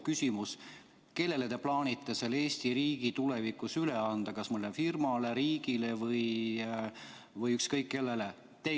Küsimus: kellele te plaanite Eesti riigi tulevikus üle anda, kas mõnele firmale, riigile või ükskõik kellele?